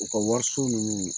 U ka wariso ninnu